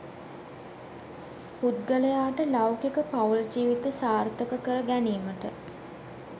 පුද්ගලයාට ලෞකික පවුල් ජීවිත සාර්ථක කරගැනීමට